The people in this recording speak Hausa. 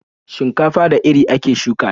Shinkafa da iri ake shuka ta.